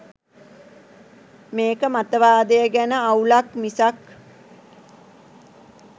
මේක මතවාදය ගැන අවුලක් මිසක්